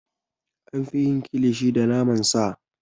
An fi yin Kilishi da naman sa.